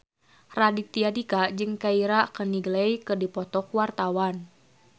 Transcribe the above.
Raditya Dika jeung Keira Knightley keur dipoto ku wartawan